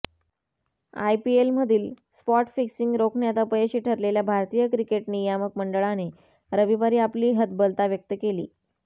आयपीएलमधील spot fixing रोखण्यात अपयशी ठरलेल्या भारतीय क्रिकेट नियामक मंडळाने रविवारी आपली हतबलता व्यक्त केली